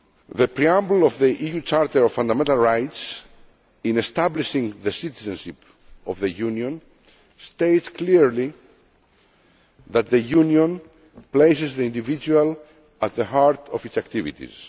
The preamble of the EU Charter of Fundamental Rights in establishing the citizenship of the Union states clearly that the Union places the individual at the heart of its activities.